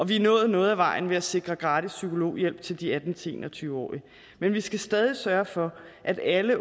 vi er nået noget af vejen ved at sikre gratis psykologhjælp til de atten til en og tyve årige men vi skal stadig sørge for at alle